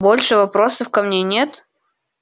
больше вопросов ко мне нет